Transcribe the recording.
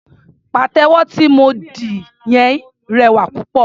Pàtẹ́wọ́ tí mo dì yẹn rẹwà púpọ̀.